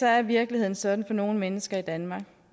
er virkeligheden sådan for nogle mennesker i danmark